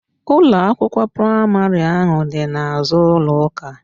Ụlọ akwụkwọ praịmarị ahụ dị n'azụ ụlọ ụka